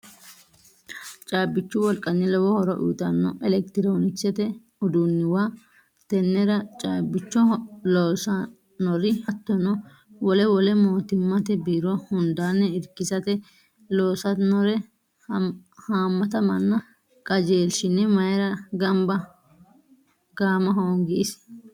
Caabbichu wolqanni lowo horo uyittano elekitironkisete uduunuwa tenera caabbicho loossanori hattono wole wole mootimmate biiro hundanni irkisate loossanore haamatta manna qajeelshine mayra gaama hoongi isi ?